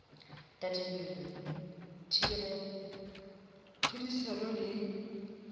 tadimilwe thibelo ya tlhodisano le